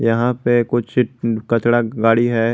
यहां पे कुछ कचड़ा गाड़ी है।